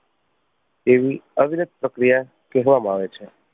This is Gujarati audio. એવી અવિરત પ્રક્રિયા કહેવામાં આવે છે.